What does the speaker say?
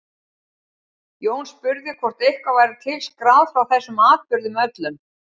Jón spurði hvort eitthvað væri til skráð frá þessum atburðum öllum.